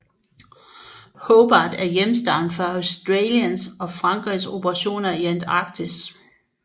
Hobart er hjemhavn for Australiens og Frankrigs operationer i Antarktis